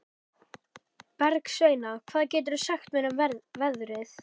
Bergsveina, hvað geturðu sagt mér um veðrið?